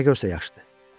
Nə görsə yaxşıdır.